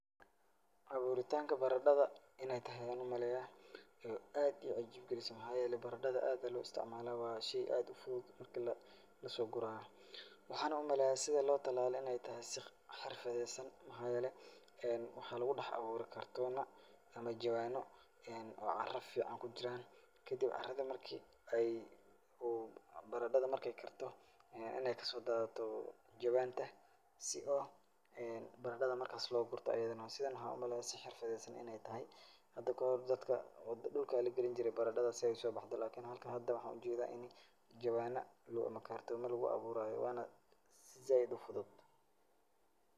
Abuuritanka baradhada in ay tahay ayaan u maleayaa oo aad ii cajibgilisay. Maxaa yeelay baradada aad baa loo istacmalaa. Waa shay aad u fudud marka la la soo guraayo. Waxaana u maleeyaa sida loo tilaalay in ay tahay si xirfadaysan maxaa yeelay, waxaa lugu dex abuuray kartoona ama jawaano oo cara ficaan ku jiraan. Kadib carada markii ay uu baradhada marka ay karto inaay ka soo daadato jawaanta si oo baradhada markaas loo gurto ayidana. Sidan waxaa u maleeyaa si xirfadaysan inay tahay. Hada kahor dadka dulka ayaa lagelinjiray baradhada si ay u soobaxdo lakini halkan hada waxaan u jeedaa inay jawaana ama kartoomo lugu abuuraayo wana si zaaid u fudud.